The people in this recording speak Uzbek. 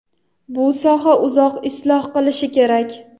bu soha uzoq isloh qilinishi kerak.